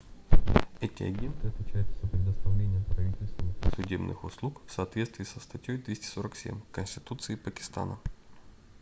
эти агенты отвечают за предоставление правительственных и судебных услуг в соответствии со статьей 247 конституции пакистана